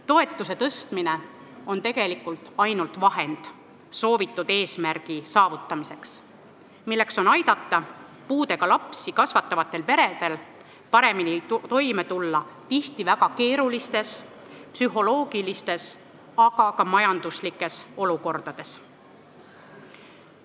Toetuse tõstmine on tegelikult ainult vahend soovitud eesmärgi saavutamiseks, milleks on aidata puudega lapsi kasvatavatel peredel paremini toime tulla psühholoogiliselt, aga ka majanduslikult tihti väga keerulistes olukordades.